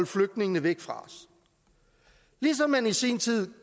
flygtningene væk fra os ligesom man i sin tid